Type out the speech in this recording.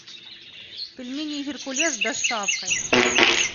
пельмени геркулес с доставкой